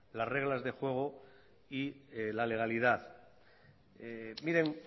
las reglas de juego y la legalidad miren